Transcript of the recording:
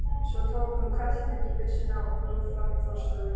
Svo tók hún hvellhettubyssuna og fór fram í forstofu.